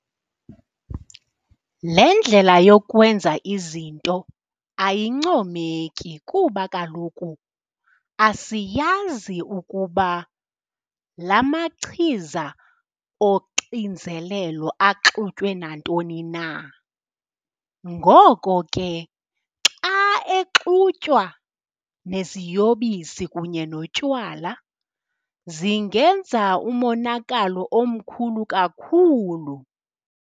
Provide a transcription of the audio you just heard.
Le ndlela yokwenza izinto ayincomeki kuba kaloku asiyazi ukuba la machiza oxinzelelo axutywe nantoni na. Ngoko ke xa exutywa neziyobisi kunye notywala zingenza umonakalo omkhulu kakhulu.